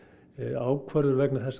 ákvörðun vegna þess að